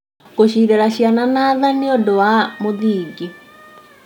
Gũcirera ciana na tha nĩ ũndũ wa mũthingi.